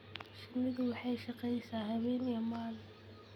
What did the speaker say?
Shinnidu waxay shaqaysaa habeen iyo maalin.